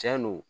Cɛn do